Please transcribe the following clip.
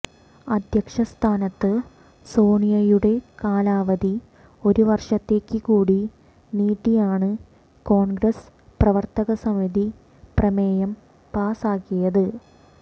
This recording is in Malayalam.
അധ്യക്ഷ സ്ഥാനത്ത് സോണിയയുടെ കാലാവധി ഒരു വര്ഷത്തേക്ക് കൂടി നീട്ടിയാണ് കോണ്ഗ്രസ് പ്രവര്ത്തകസമിതി പ്രമേയം പാസാക്കിയത്